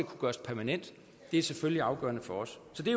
kunne gøres permanent er selvfølgelig afgørende for os så det